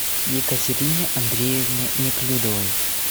екатерине андреевне неклюдовой